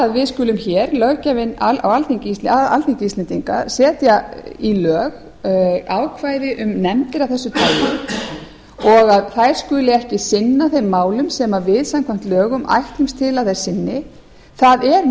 við skulum hér löggjafinn á alþingi íslendinga setja í lög ákvæði um nefndir af þessu tagi og þær skulu ekki kynna sér málin sem við samkvæmt lögum ætlast til að þær sinni það er